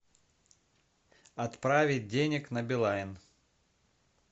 отправить денег на билайн